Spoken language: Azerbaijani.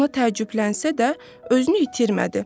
Buna təəccüblənsə də özünü itirmədi.